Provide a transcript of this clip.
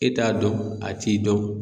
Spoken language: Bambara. E t'a dɔn a t'i dɔn.